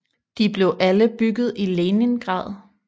De blev alle bygget i Leningrad